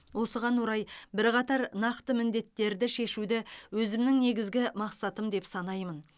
осыған орай бірқатар нақты міндеттерді шешуді өзімнің негізгі мақсатым деп санаймын